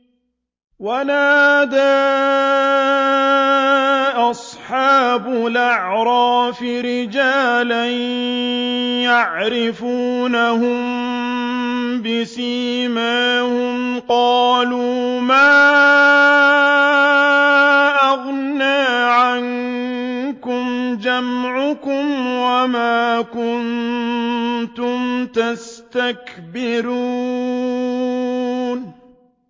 وَنَادَىٰ أَصْحَابُ الْأَعْرَافِ رِجَالًا يَعْرِفُونَهُم بِسِيمَاهُمْ قَالُوا مَا أَغْنَىٰ عَنكُمْ جَمْعُكُمْ وَمَا كُنتُمْ تَسْتَكْبِرُونَ